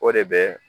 O de bɛ